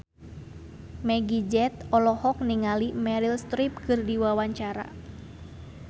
Meggie Z olohok ningali Meryl Streep keur diwawancara